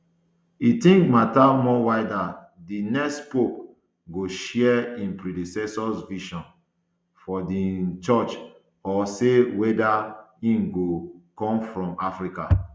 im think matter more weda um di next pope go share im predecessor vision for di um church or say weda im go come from africa